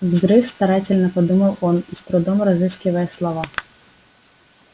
взрыв старательно подумал он с трудом разыскивая слова